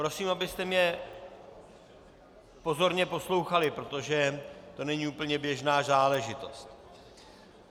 Prosím, abyste mě pozorně poslouchali, protože to není úplně běžná záležitost.